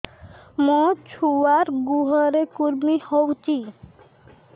ମୋ ଛୁଆର୍ ଗୁହରେ କୁର୍ମି ହଉଚି